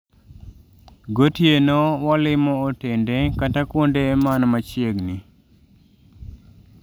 Go tieno walmo otende kata kuonde man machiegni